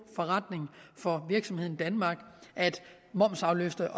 forretning for virksomheden danmark at momsafløfte